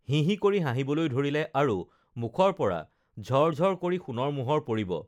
হিহি কৰি হাঁহিবলৈ ধৰিলে আৰু মুখৰ পৰা ঝৰ ঝৰ কৰি সোণৰ মোহৰ পৰিব